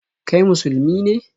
Kai Musulmi ne?